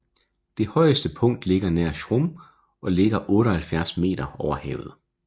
Det højeste punkt ligger nær Schrum og ligger 78 m over havet